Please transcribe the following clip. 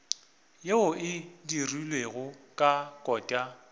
yeo e dirilwego ka kota